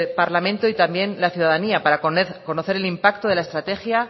parlamento y también la ciudadanía para conocer el impacto de la estrategia